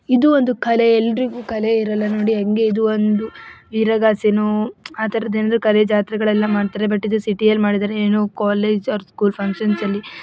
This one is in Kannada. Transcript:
ಇದು ಒಂದು ಕಲೆ ಎಲ್ಲರಿಗೂ ಕಲೆ ಇರಲ್ಲ ನೋಡಿ ಹೆಂಗೆ ಇದು ಒಂದು ಆತರದ ಏನೊ ಒಂದು ಜಾತ್ರೆ ಮಾಡ್ತಾರೆ ಬಟ್‌ ಇದು ಸಿಟಿ ಯಲ್ಲಿ ಮಾಡಿದ್ದಾರೆ ಏನೊ ಕಾಲೆಜ ಆರ ಸ್ಕುಲ ಫಂಕ್ಷನ್‌ --